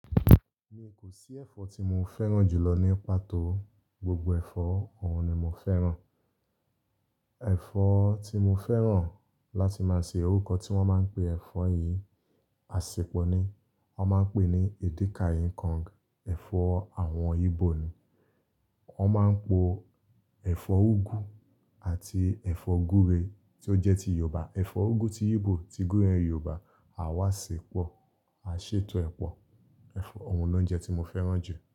Mi kò sí ẹ̀fọ́ tí mo fẹ́ràn jù lọ ní pàtó. Gbogbo ẹ̀fọ́ òun ni mo fẹ́ràn. Ẹ̀fọ́ tí mo fẹ́ràn láti máa se orúkọ tí wọ́n máa ń pe ẹ̀fọ́ yìí, àsèpọ̀ ni wọ́n máa ń pè ní Edika-ikong. Ẹ̀fọ́ àwọn Igbo ni. Wọ́n máa ń po ẹ̀fọ́ úgú àti ẹ̀fọ́ gúre tí ó jẹ́ ti Yorùbá. Ẹ̀fọ́ úgú ti Igbo, ti gúre Yorùbá. A wá ṣe pọ̀, a ṣètò ẹ̀ pọ̀. Ẹ̀fọ́ òun ló ń jẹ́ tí mo fẹ́ràn jù.